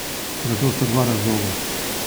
Za to sta dva razloga.